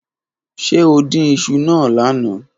Ṣe o din iṣu naa lana?